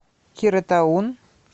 кира таун